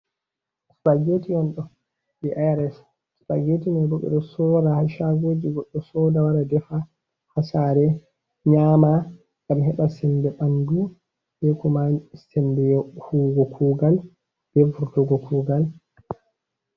Spageti on ɗo, jei IRS Spageti mai bo ɓe ɗo sora haa shaagoji, goɗɗo soda, wara defa haa saare, nyaama ngam heɓa sembe ɓandu be kuma sembe huwugo kugal, be vurtugo kugal.